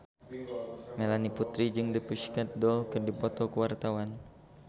Melanie Putri jeung The Pussycat Dolls keur dipoto ku wartawan